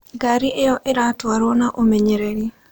Ngari ĩyo ĩratwarwo na ũmenyereri.